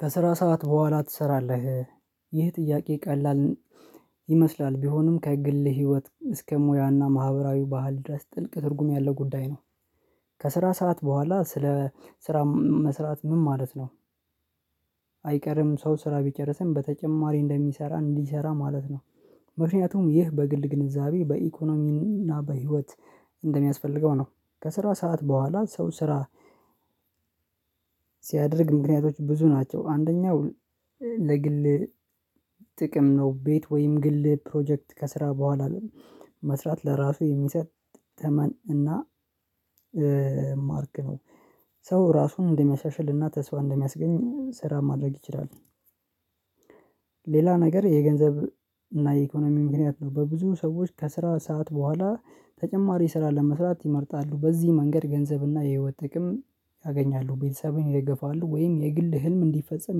ከስራ ሰዓት በኋላ ትሰራለህ ይህ ጥያቄ ቀላል ይመስላል ቢሆንም ከግል ህይወት እስከ ሙያና ማህበራዊ ባህል ድረስ ጥልቅ ትርጉም ያለው ጉዳይ ነው። ከስራ ሰዓት በኋላ ስለ ስራ መስራት ምን ማለት ነው? አይቀርም ሰው ስራ ቢጨርስም በተጨማሪ እንደሚሰራ እንዲሰራ ማለት ነው። ምክንያቱም ይህ በግል ግንዛቤ በኢኮኖሚና በህይወት እንደሚያስፈልገው ነው ከስራ ሰዓት በኋላ ሰው ስራ ሲያደርግ ምክንያቶች ብዙ ናቸው አንደኛው ለግል ጥቅም ነው ቤት ወይም ግል ፕሮጀክት ከስራ በኋላ መስራት ለራሱ የሚሰጥ ተመን እና ማርክ ነው ሰው ራሱን እንደሚያሻሽልና ተስፋ እንደሚያስገኝ ስራ ማድረግ ይችላል። ሌላ ነገር የገንዘብ እና የኢኮኖሚ ምክንያት ነው በብዙ ሰዎች ከስራ ሰዓት በኋላ ተጨማሪ ስራ ለመስራት ይመርጣሉ በዚህ መንገድ ገንዘብና የህይወት ጥቅም ያገኛሉ ቤተሰብን ይደገፋሉ ወይም የግል ህልም እንዲፈጸም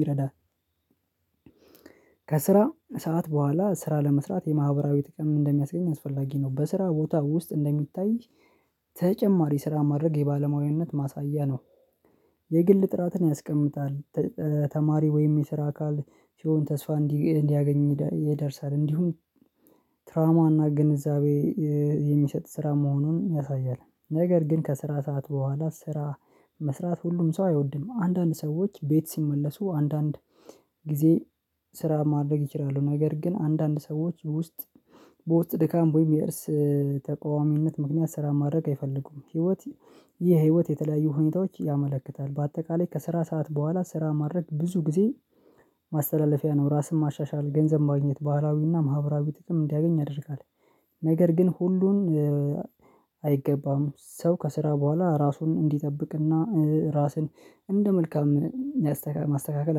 ይረዳል። ከስራ ሰዓት በኋላ ስራ ለመስራት የማህበራዊ ጥቅም እንደሚያስገኝ አስፈላጊ ነው በስራ ቦታ ውስጥ እንደሚታይ ተጨማሪ ስራ ማድረግ የባለሙያነት ማሳያ ነው። የግል ጥራትን ያስቀምጣል ተማሪ ወይም የስራ አካል ሲሆን ተስፋ እንዲያገኝ ይደርሳል እንዲሁም ትራማና ግንዛቤ የሚሰጥ ስራ መሆኑን ያሳያል። ነገር ግን ከስራ ሰዓት በኋላ ስራ መስራት ሁሉም ሰው አይወድም አንዳንድ ሰዎች ቤት ሲመለሱ አንዳንድ ጊዜ ስራ ማድረግ ይችላሉ ነገር ግን አንዳንድ ሰዎች ውስጥ በውስጥ ድካም ወይም የእርስ ተቃዋሚነት ምክንያት ስራ ማድረግ አይፈልጉም። ህይወት የህይወት የተለያዩ ሁኔታዎች ያመለክታል በአጠቃላይ ከስራ ሰዓት በኋላ ስራ ማድረግ ብዙ ጊዜ ማስተላለፊያ ነው ራስን ማሻሻል ገንዘብ ማግኘት ባህላዊና ማህበራዊ ጥቅም እንዲያገኝ ያደርጋል። ነገር ግን ሁሉን አይገባም ሰው ከስራ በኋላ ራሱን እንዲጠብቅና ራስን እንደ መልካም ማስተካከል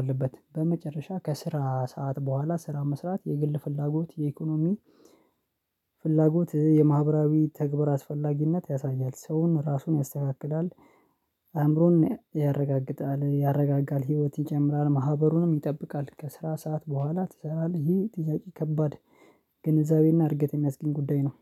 አለበት። በመጨረሻ ከስራ ሰዓት በኋላ ስራ መስራት የግል ፍላጎት የኢኮኖሚ ፍላጎት የማህበራዊ ተግባር አስፈላጊነት ያሳያል ሰውን ራሱን ያስተካክላል አእምሮን ያረጋግጣል ያረጋጋል ህይወት ይጨምራል ማህበሩንም ይጠብቃል። ከስራ ሰዓት በኋላ ትሰራለህ? ይሄ ጥያቄ ከባድ ግንዛቤና እርግጠኛ የሚያስገኝ ጉዳይ ነው።